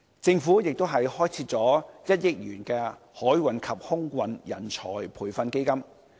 政府亦開設了1億元的海運及空運人才培訓基金。